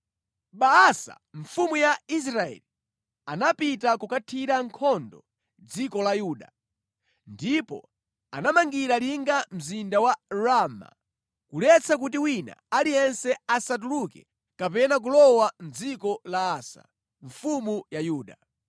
Baasa mfumu ya Israeli anapita kukathira nkhondo dziko la Yuda, ndipo anamangira linga mzinda wa Rama kuletsa kuti wina aliyense asatuluke kapena kulowa mʼdziko la Asa, mfumu ya Yuda.